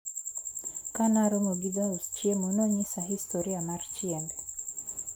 Kanaromo gi jaus chiemo, nonyisa historia mar chiembe.